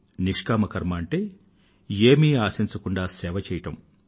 నిష్కామ కర్మ అంటే ఏమీ ఆశించకుండా సేవ చెయ్యడం